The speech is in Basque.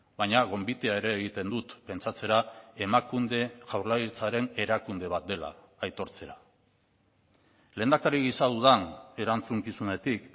baina gonbitea ere egiten dut pentsatzera emakunde jaurlaritzaren erakunde bat dela aitortzera lehendakari gisa dudan erantzukizunetik